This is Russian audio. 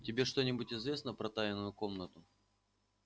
тебе что-нибудь известно про тайную комнату